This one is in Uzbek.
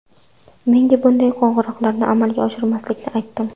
Menga bunday qo‘ng‘iroqlarni amalga oshirmaslikni aytdim.